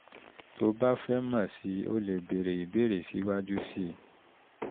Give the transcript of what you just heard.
tó o bá fẹ́ mọ̀ sí i o leè béèrè ìbéèrè síwájú sí i